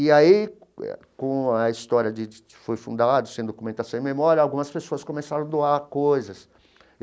E aí eh, com a história de de de que foi fundado, sem documentação e memória, algumas pessoas começaram a doar coisas.